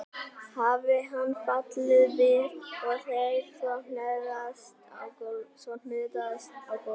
Hafi hann fallið við og þeir svo hnoðast á gólfinu.